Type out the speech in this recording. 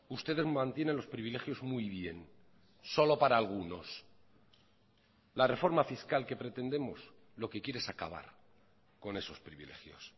ustedes mantienen los privilegios muy bien solo para algunos la reforma fiscal que pretendemos lo que quiere es acabar con esos privilegios